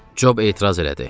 Cob etiraz elədi.